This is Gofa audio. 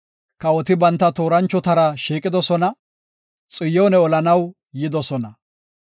Kawoti banta tooranchotara shiiqidosona; Xiyoone olanaw yidosona.